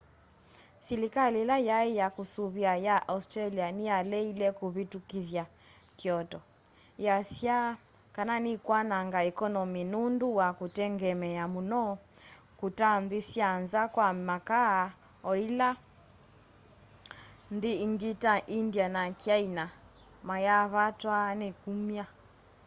silikali ila yai ya kusuvia ya australia niyaleile kuvitukithya kyoto iyasya kana nikwananga ekonomi nundu wa kutengemea muno kuta nthi sya nza kwa makaa o ila nthi ingi ta india na kyaina mayaavatwa ni kumya